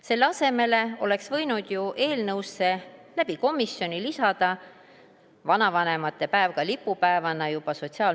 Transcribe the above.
Selle asemel oleks võinud ju Sotsiaalministeerium komisjoni kaudu lisada eelnõusse lipupäevana ka vanavanemate päeva.